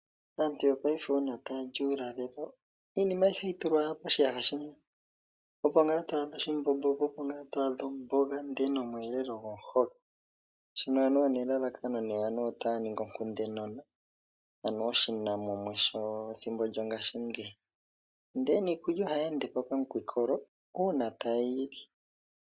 Aantu yongashingeyi uuna tayali uulalelo iinima ayihe ohayi tulwa owala poshiyaha shimwe ,opo ngaa to adha oshimbombo, po opo ngaa to adha omboga ndee nomweelelo gomuhoka. Shino anuwa elalakano anuwa otaya ningi oshikunde nona ,anuw oshinamumwe shethimbo lyongashingeyi ndele aniikulya ohayi endepo nawa uuna ta yeyili